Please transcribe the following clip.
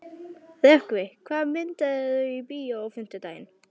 Rökkvi, hvaða myndir eru í bíó á fimmtudaginn?